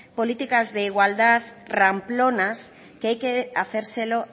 políticas de igualdad ramplonas que hay que hacérselo